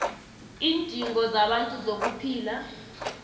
iindingo zabantu zokuphila